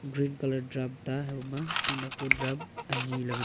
green colour drum ta nak nak ku drum ani ley--